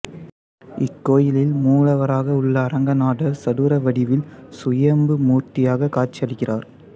இக்கோயிலில் மூலவராக உள்ள அரங்கநாதர் சதுர வடிவில் சுயம்பு மூர்த்தியாக காட்சியளிக்கிறார்